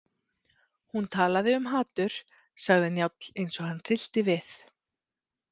Hún talaði um hatur, sagði Njáll eins og hann hryllti við.